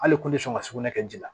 Hali kun tɛ sɔn ka sugunɛ kɛ ji la